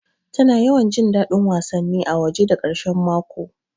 Tana yawan jin daɗin wasanni a waje da ƙarshe mako